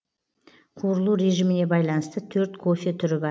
қуырылу режиміне байланысты төрт кофе түрі бар